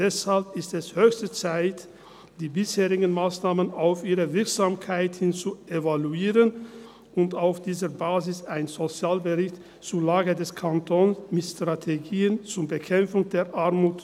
Deshalb ist es höchste Zeit, die bisherigen Massnahmen auf ihre Wirksamkeit hin zu evaluieren und auf dieser Basis einen Sozialbericht zur Lage des Kantons zu realisieren, mit Strategien zur Bekämpfung der Armut.